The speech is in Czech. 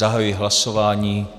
Zahajuji hlasování.